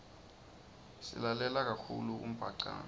silalela kakhulu umbhacanga